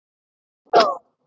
Hún dó!